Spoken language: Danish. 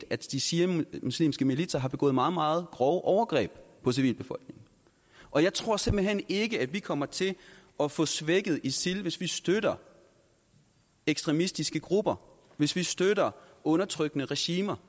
at de shiamuslimske militser har begået meget meget grove overgreb på civilbefolkningen og jeg tror simpelt hen ikke at vi kommer til at få svækket isil hvis vi støtter ekstremistiske grupper hvis vi støtter undertrykkende regimer